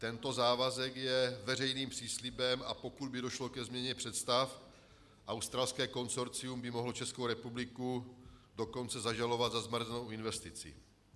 Tento závazek je veřejným příslibem, a pokud by došlo ke změně představ, australské konsorcium by mohlo Českou republiku dokonce zažalovat za zmařenou investici.